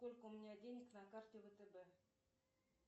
сколько у меня денег на карте втб